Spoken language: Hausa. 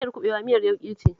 Miyar kuɓewa miyar yauƙi ce